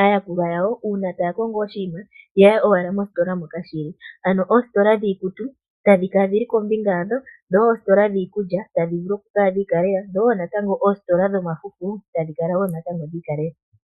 aayakulwa yawo uuna taya kongo oshinima ya ye owala mositola moka shi li. Ano oositola dhiikutu tadhi kala dhi li kombinga yadho, dho oositola dhi iikulya tadhi vulu okukala dhi ikalela, dho wo natango oositola dhomafufu tadhi kala wo natango dhi ikalela.